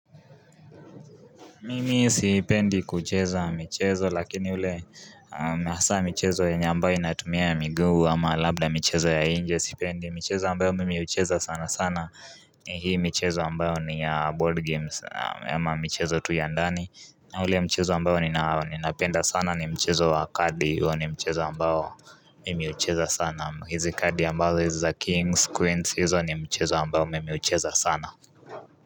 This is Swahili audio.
Mimi sipendi kucheza michezo lakini ule na hasa michezo yenye ambayo inatumia ya miguu ama labda michezo ya nje sipendi. Michezo ambayo mimi hucheza sana sana ni hii michezo ambayo ni ya board games ama michezo tu ya ndani na ule mchezo ambayo ninapenda sana ni mchezo wa kadi. Huo ni mchezo ambao Mimi hucheza sana, hizi kadi ambazo ni za kings, queens hizo ni mchezo ambayo mimi hucheza sana.